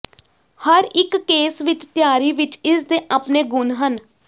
ਹਰ ਇੱਕ ਕੇਸ ਵਿੱਚ ਤਿਆਰੀ ਵਿਚ ਇਸ ਦੇ ਆਪਣੇ ਗੁਣ ਹਨ